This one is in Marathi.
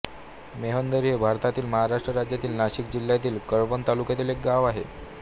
मोहंदरी हे भारताच्या महाराष्ट्र राज्यातील नाशिक जिल्ह्यातील कळवण तालुक्यातील एक गाव आहे